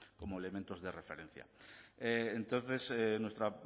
como elementos de referencia entonces nuestro